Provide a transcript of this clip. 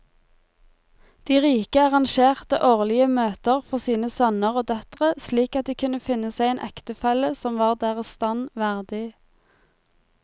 De rike arrangerte årlige møter for sine sønner og døtre slik at de kunne finne seg en ektefelle som var deres stand verdig.